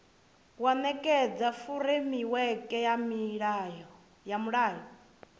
ya nekedza furemiweke ya mulayo